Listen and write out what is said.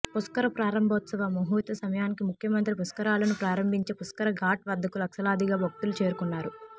పుష్కర ప్రారంభోత్సవ ముహూర్త సమయానికి ముఖ్యమంత్రి పుష్కరాలను ప్రారంభించే పుష్కర ఘాట్ వద్దకు లక్షలాదిగా భక్తులు చేరుకున్నారు